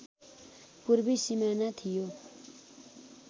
पूर्वी सिमाना थियो